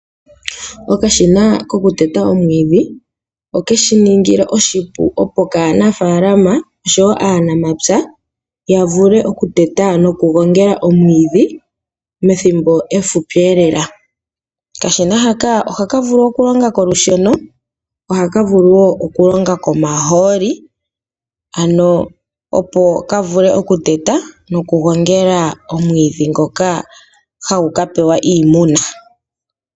Okashina kokuteta omwiidhi oke shi ningi oshipu kaanafaalama noshowo aanamapya ya vule okuteta nokugongela omwiidhi methimbo efupi lela. Okashina haka ohaka vulu okulonga kolusheno nohaka vulu okulonga komahooli, opo ka vule okuteta nokugongela omwiidhi ngoka hagu ka pewa iimuna.